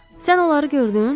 Sən onları gördün?